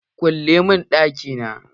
Ya ce " Kulle mun ɗaki na"!